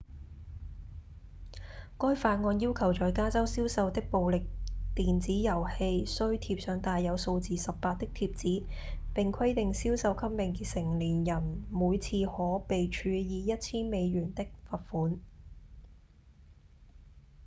該法案要求在加州銷售的暴力電子遊戲須貼上帶有數字「18」的貼紙並規定銷售給未成年人每次可被處以 1,000 美元的罰款